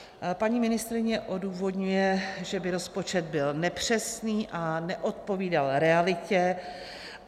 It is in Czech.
Paní ministryně odůvodňuje, že by rozpočet byl nepřesný a neodpovídal realitě.